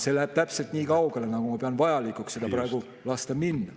See läheb täpselt nii kaugele, nagu ma pean vajalikuks sel lasta minna.